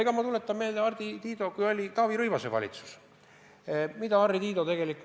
Ja ma tuletan meelde, mida Harri Tiido, kui oli Taavi Rõivase valitsuse aeg, kirjutas Äripäevas.